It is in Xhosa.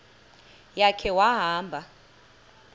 ya khe wahamba